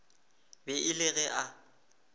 be e le ge a